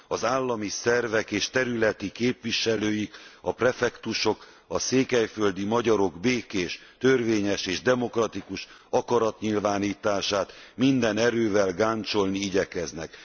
Az állami szervek és területi képviselőik, a prefektusok a székelyföldi magyarok békés, törvényes és demokratikus akaratnyilvánítását minden erővel gáncsolni igyekeznek.